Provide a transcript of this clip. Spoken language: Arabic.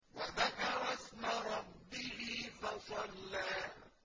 وَذَكَرَ اسْمَ رَبِّهِ فَصَلَّىٰ